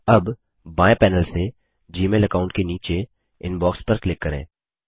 अब बाएँ पैनल से जीमेल अकाऊंट के नीचे इनबॉक्स पर क्लिक करें